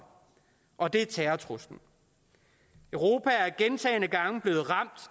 og det er terrortruslen europa er gentagne gange blevet ramt